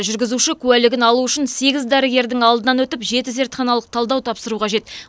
жүргізуші куәлігін алу үшін сегіз дәрігердің алдынан өтіп жеті зертханалық талдау тапсыру қажет